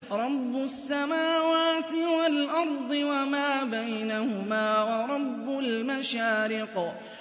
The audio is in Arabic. رَّبُّ السَّمَاوَاتِ وَالْأَرْضِ وَمَا بَيْنَهُمَا وَرَبُّ الْمَشَارِقِ